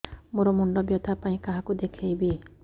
ମୋର ମୁଣ୍ଡ ବ୍ୟଥା ପାଇଁ କାହାକୁ ଦେଖେଇବି